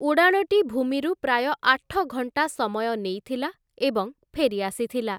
ଉଡ଼ାଣଟି ଭୂମିରୁ ପ୍ରାୟ ଆଠ ଘଣ୍ଟା ସମୟ ନେଇଥିଲା ଏବଂ ଫେରି ଆସିଥିଲା ।